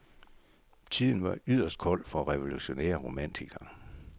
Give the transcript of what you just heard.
Tiden var yderst kold for revolutionære romantikere.